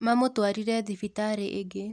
Mamũtũarire thibitari ĩngĩ